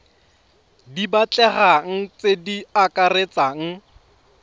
di batlegang tse di akaretsang